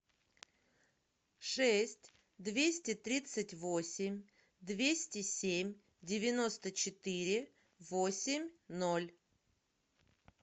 шесть двести тридцать восемь двести семь девяносто четыре восемь ноль